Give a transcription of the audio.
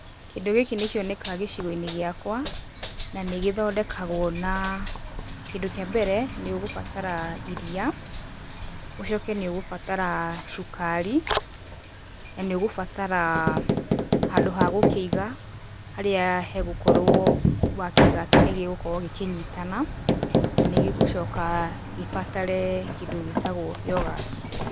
Kĩndũ gĩkĩ nĩ kĩonekaga gĩcigo-inĩ gĩakwa, na nĩ gĩthondekagwo na, kĩndũ kĩa mbere nĩ ũgũbatara iria, ũcoke nĩ ũgũbatara cukari, na nĩ ũgũbatara handũ ha gũkĩiga, harĩa hegũkorwo wakĩiga atĩ nĩ gĩgũkorwo gĩkĩnyitana, na nĩ gĩgũcoka gĩbatare kĩndũ gĩtagwo yoghurt.